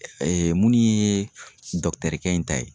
minnu ye kɛ in ta ye